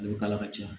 A bɛ k'a la ka ca